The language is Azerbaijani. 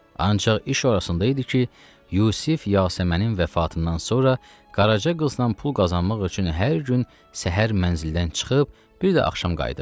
Ancaq iş orasında idi ki, Yusif Yasəmənin vəfatından sonra qaraçı qızla pul qazanmaq üçün hər gün səhər mənzildən çıxıb, bir də axşam qayıdırdı.